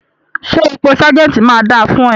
Ṣẹ́ ipò sergeant máa dà fún ẹ?